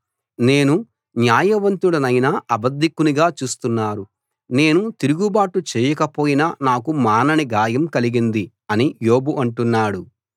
నేను న్యాయవంతుడినైనా అబద్ధికునిగా చూస్తున్నారు నేను తిరుగుబాటు చేయకపోయినా నాకు మానని గాయం కలిగింది అని యోబు అంటున్నాడు